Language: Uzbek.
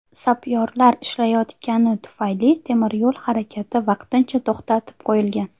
Sapyorlar ishlayotgani tufayli, temiryo‘l harakati vaqtincha to‘xtatib qo‘yilgan.